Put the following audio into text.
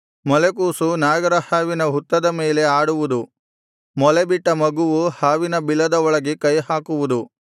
ಮೊಲೆಕೂಸು ನಾಗರ ಹಾವಿನ ಹುತ್ತದ ಮೇಲೆ ಆಡುವುದು ಮೊಲೆಬಿಟ್ಟ ಮಗುವು ಹಾವಿನ ಬಿಲದ ಒಳಗೆ ಕೈಹಾಕುವುದು